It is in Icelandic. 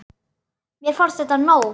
Mér fannst þetta nóg.